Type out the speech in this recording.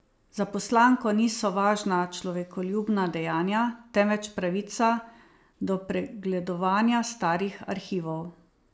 Za poslanko niso važna človekoljubna dejanja, temveč pravica do pregledovanja starih arhivov.